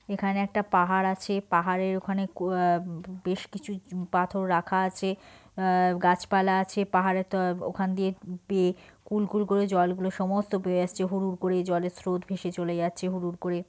এখানে একটা পাহাড় আছে পাহাড় এর ওখানে কু আ- বেশ কিছু চুউউ পাথর রাখা আছে আ - গাছপালা আছে পাহাড় এ তো ওখান দিয়ে বে কুল কুল করে জল গুলো সমস্ত বয়ে আসছে হুর হুর করে জলের স্রোত ভেসে চলে যাচ্ছে হুর হুর করে।